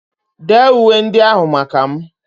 Dee uwe ndị ahụ maka m!